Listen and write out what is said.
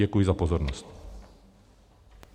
Děkuji za pozornost.